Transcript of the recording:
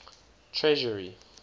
treasury